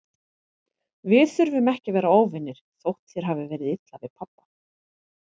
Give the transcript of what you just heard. Við þurfum ekki að vera óvinir, þótt þér hafi verið illa við pabba.